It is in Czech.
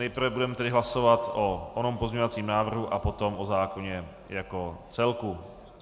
Nejprve budeme tedy hlasovat o onom pozměňovacím návrhu a potom o zákonu jako celku.